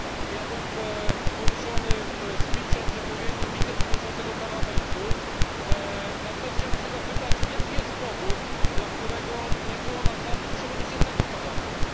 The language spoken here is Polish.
Ja byłem poruszony przemówieniem wiceprzewodniczącego Parlamentu, natomiast chciałbym się zapytać jaki jest powód, dla którego nie było na sali przewodniczącego Parlamentu?